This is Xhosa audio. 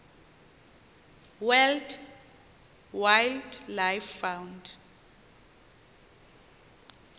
world wildlife fund